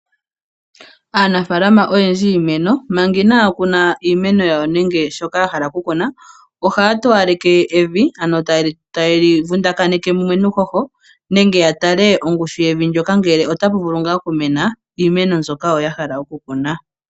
Aanafaalama oyendji yiimeno manga inaya kuna iimeno yawo nenge shoka yahala okukuna, ohaya towaleke evi. Ohaya vundakaneke evi mumwe nuuhoho nenge yatale ongushu yevi ndyoka ngele otapu vulu okumena iimeno mbyoka yahala okukuna.